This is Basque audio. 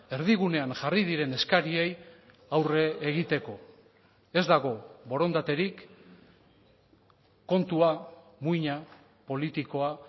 erdigunean jarri diren eskariei aurre egiteko ez dago borondaterik kontua muina politikoa